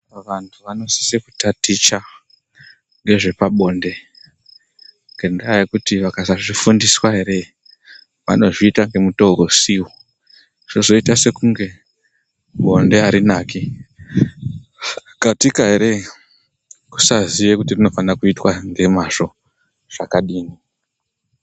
Vantu vanosisa kutaticha nezvepabonde ngendaa yekuti vakasazvifundiswa ere, vanozviita nemutoo usiwo. Zvozoita sekunge bonde harinaki. Katika ere, kusaziva kuti rinofana kuitwa ne mazvo zvakadii.